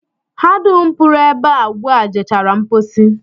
Ha dum pụrụ ebe a ugbu a jechara mpochi